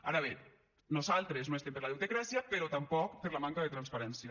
ara bé nosaltres no estem per la deutecràcia però tampoc per la manca de transparència